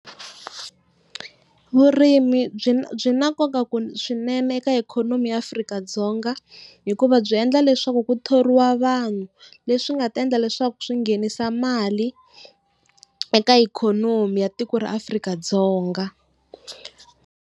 Vurimi byi byi na nkoka swinene eka ikhonomi ya Afrika-Dzonga hikuva byi endla leswaku ku thoriwa vanhu, leswi nga ta endla leswaku swi nghenisa mali eka ikhonomi ya tiko ra Afrika-Dzonga.